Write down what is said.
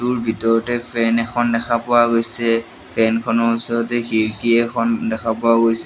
টোৰ ভিতৰতে ফেন এখন দেখা পোৱা গৈছে ফেন খনৰ ওচৰতে খিৰকী এখন দেখা পোৱা গৈছে।